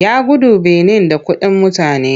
Ya gudu Benin da kuɗin mutane.